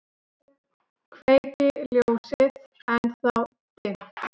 Kveiki ljósið, ennþá dimmt.